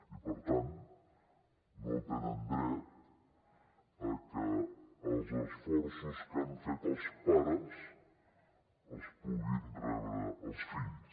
i per tant no tenen dret a que els esforços que han fet els pares els puguin rebre els fills